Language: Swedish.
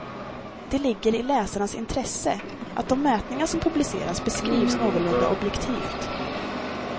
Det ligger i läsarnas intresse att de mätningar som publiceras beskrivs någorlunda objektivt.